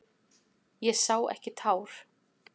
Ég sá ekki tár.